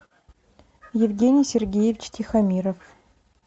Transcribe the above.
евгений сергеевич тихомиров